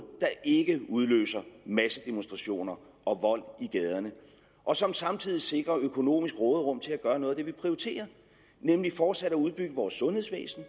der ikke udløser massedemonstrationer og vold i gaderne og som samtidig sikrer økonomisk råderum til at gøre noget af det vi prioriterer nemlig fortsat at udbygge vores sundhedsvæsen